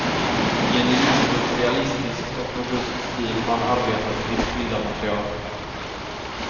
I en livfullt realistisk och robust stil har han arbetat i vitt skilda material.